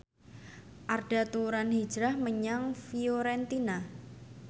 Arda Turan hijrah menyang Fiorentina